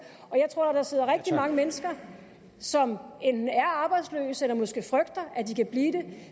jeg tror der sidder rigtig mange mennesker som enten er arbejdsløse eller måske frygter at de kan blive det og